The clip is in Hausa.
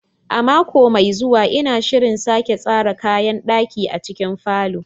A mako mai zuwa, ina shirin sake tsara kayan ɗaki a cikin falon.